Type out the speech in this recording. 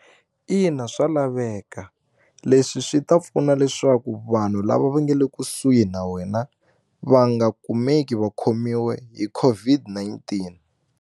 Ina, swa laveka leswi swi ta pfuna leswaku vanhu lava va nga le kusuhi na wena va nga kumeki va khomiwe hi COVID-19.